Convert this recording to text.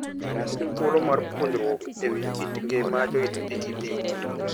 En thuolo mar puonjruok e wi kit ngima joidh pikipiki.